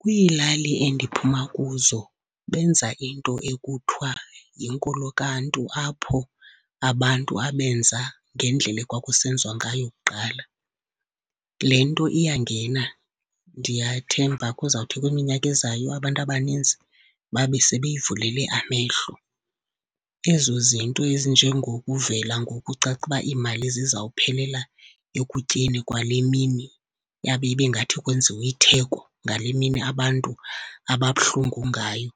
Kwiilali endiphuma kuzo benza into ekuthiwa yinkolokaNtu apho abantu abenza ngendlela ekwakusenziwa ngayo kuqala. Le nto iyangena, ndiyathemba kuzawuthi kwiminyaka ezayo abantu abaninzi babe sebeyivulele amehlo. Ezo zinto ezinjengokuvela ngoku kucace uba imali zizawuphelela ekutyeni kwale mini, yabe ibe ngathi kwenziwe itheko ngale mini abantu ababuhlungu ngayo,